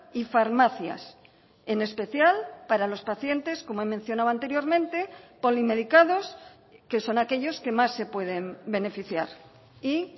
y farmacias en especial para los pacientes como he mencionado anteriormente polimedicados que son aquellos que más se pueden beneficiar y